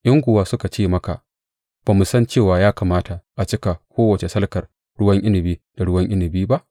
In kuwa suka ce maka, Ba mu san cewa ya kamata a cika kowace salkar ruwan inabi da ruwan inabi ba?’